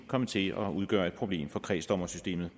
komme til at udgøre et problem for kredsdommersystemet